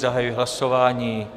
Zahajuji hlasování.